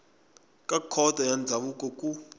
ka khoto ya ndzhavuko ku